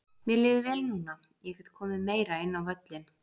Mér líður vel núna, ég get komið meira inn á völlinn.